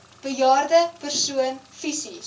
bejaarde persoon fisies